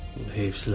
Heyfsiləndim.